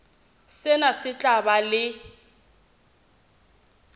sena se tla ba le